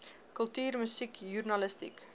kultuur musiek joernalistiek